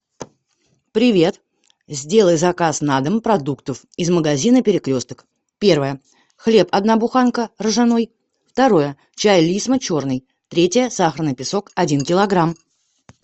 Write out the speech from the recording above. привет сделай заказ на дом продуктов из магазина перекресток первое хлеб одна буханка ржаной второе чай лисма черный третье сахарный песок один килограмм